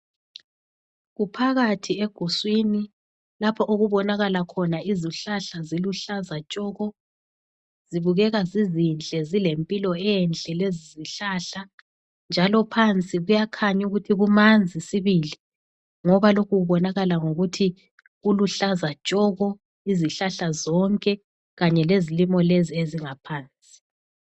Kuphakathi eguswini lapho okubonakala khona izihlahla ziluhlaza tshoko, zibukeka zizinhle, zilempilo enhle lezizihlahla njalo phansi kuyakhanya ukuthi kumanzi sibili ngoba lokhu kubonakala ngokuthi kuluhlaza tshoko izihlahla zonke kanye lezilimo lezi ezingaphansi.